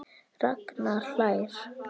Ragnar hlær.